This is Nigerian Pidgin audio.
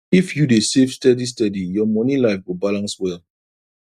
if you dey save steady steady your money life go balance well